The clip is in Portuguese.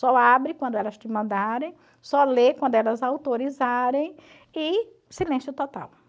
Só abre quando elas te mandarem, só lê quando elas autorizarem e silêncio total.